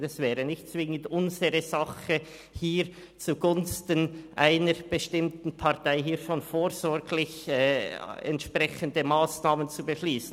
Das wäre also nicht zwingend unsere Sache, hier zugunsten einer bestimmten Partei vorsorglich entsprechende Massnahmen zu beschliessen.